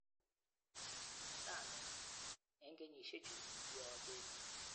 Rani...eng kenyisiechu, kiabeet kimnatosiek alak,"kikikas komwaei.